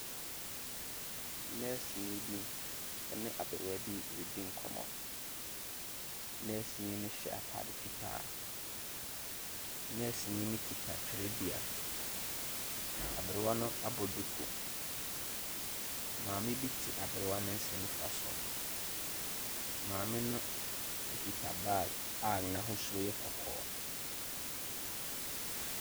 Nɛɛseni bi ne aberewa bi redi nkɔmmɔ. Nɛɛseni no hyɛ atade fitaa. Nɛɛseni no kita twerɛdua. Aberewa no abɔ duku. Maame bi te aberewa no nsa nifa so. Maame no kita bag a n'ahosuo yɛ kɔkɔɔ.